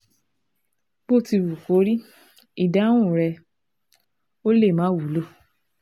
Bó ti wù kó rí, ìdáhùn rèé (Ó lè má wúlò)